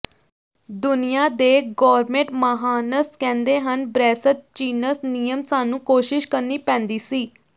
ਦੁਨੀਆ ਦੇ ਗੋਰਮੇਟ ਮਹਾਨਸ ਕਹਿੰਦੇ ਹਨ ਬ੍ਰੈਸਜ਼ ਚਿਨਸ ਨਿਯਮ ਸਾਨੂੰ ਕੋਸ਼ਿਸ਼ ਕਰਨੀ ਪੈਂਦੀ ਸੀ